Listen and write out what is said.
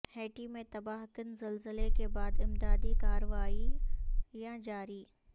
Haiti میں تباہ کن زلزلے کے بعد امدادی کاروائیاں جاری